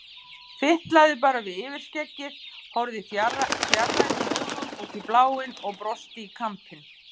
Fitlaði bara við yfirskeggið, horfði fjarrænum augum út í bláinn og brosti í kampinn.